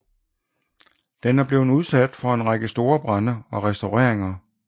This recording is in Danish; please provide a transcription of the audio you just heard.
Den er blevet udsat for en række store brande og restaureringer